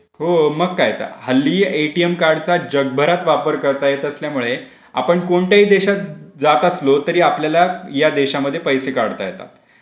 हो मग काय तर.हल्ली ए टी एम कार्ड चा जगभरात वापर करता येत असल्यामुळे आपण कोणत्याही देशात जात असलं तरी आपल्याला या देशांमध्ये पैसे काढता येतात.